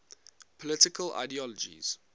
political ideologies